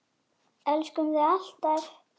Elskum þig alltaf.